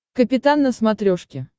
капитан на смотрешке